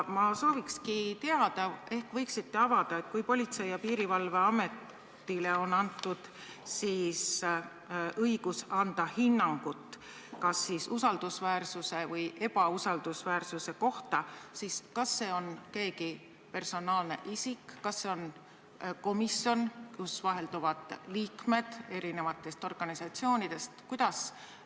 Ma sooviksin teada – ehk võiksite seda avada –, et kui Politsei- ja Piirivalveametile on antud õigus hinnata tööandja usaldusväärsust või ebausaldusväärsust, siis kas selle hinnangu annab keegi personaalne isik, kas see on komisjon, kus vahelduvad liikmed erinevatest organisatsioonidest?